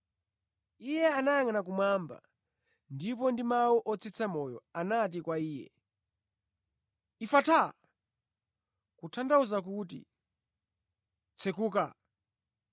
Iye anayangʼana kumwamba ndipo ndi mawu otsitsa moyo, anati kwa iye, “Efataa!” (Kutanthauza kuti, “Tsekuka!” )